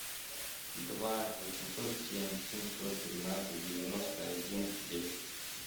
два восемьсот семь семьсот тринадцать девяносто один десять